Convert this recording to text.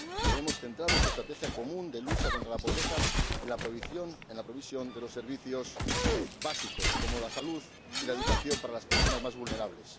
Debemos centrar nuestra estrategia común de lucha contra la pobreza en la provisión de los servicios básicos, como la salud y la educación para las personas más vulnerables.